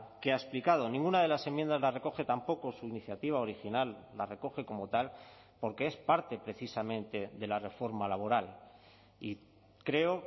que ha explicado ninguna de las enmiendas la recoge tampoco su iniciativa original la recoge como tal porque es parte precisamente de la reforma laboral y creo